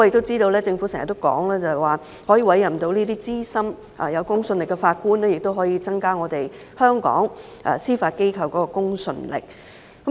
政府經常表示，委任這些資深、具公信力的法官，可以增加香港司法機構的公信力。